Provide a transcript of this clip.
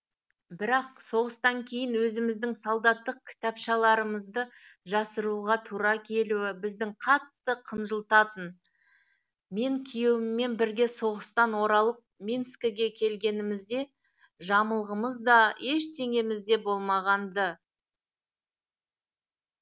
бірақ соғыстан кейін өзіміздің солдаттық кітапшаларымызды жасыруға тура келуі бізді қатты қынжылтатын мен күйеуіммен бірге соғыстан оралып минскіге келгенімізде жамылғымыз да ештеңеміз де болмаған ды